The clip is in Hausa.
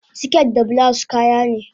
siket da bulawus kayane